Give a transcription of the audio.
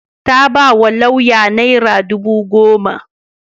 Ta ba wa lauyan naira dubu goma.